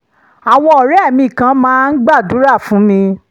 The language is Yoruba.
àwọn ọ̀rẹ́ mi kan máa ń gbàdúrà fún mi